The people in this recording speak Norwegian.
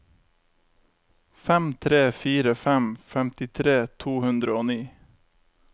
fem tre fire fem femtitre to hundre og ni